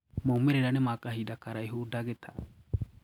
Maumirira ni ma kahinda karaihu Dkt.